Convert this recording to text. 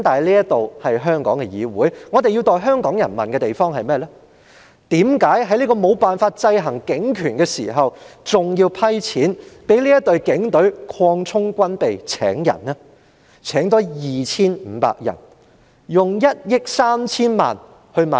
不過，這是香港的議會，我們要代香港人問的問題是：為何在無法制衡警權的同時，還要撥款給警隊擴充軍備及招聘人手？